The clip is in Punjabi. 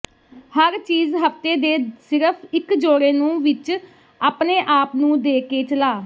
ਹਰ ਚੀਜ਼ ਹਫ਼ਤੇ ਦੇ ਸਿਰਫ਼ ਇੱਕ ਜੋੜੇ ਨੂੰ ਵਿੱਚ ਆਪਣੇ ਆਪ ਨੂੰ ਦੇ ਕੇ ਚਲਾ